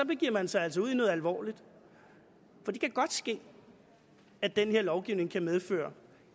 begiver man sig altså ud i noget alvorligt for det kan godt ske at den her lovgivning kan medføre